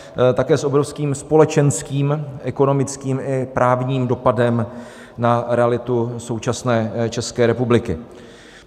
Také s obrovským společenským, ekonomickým i právním, dopadem na realitu současné České republiky.